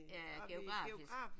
Ja geografisk